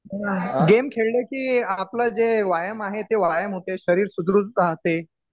हो ना गेम खेळलं की आपलं जे व्यायाम आहे ते व्यायाम होते शरीर सुदृढ राहते